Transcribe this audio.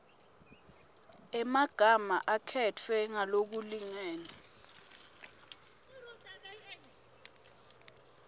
emagama akhetfwe ngalokulingene